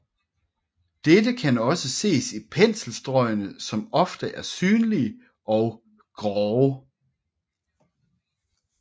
Dette kan også ses i penselstrøgene som ofte er synlige og grove